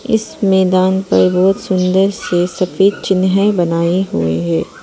इस मैदान पर बहुत सुंदर से सफेद चिन्ह बनाए हुए हैं।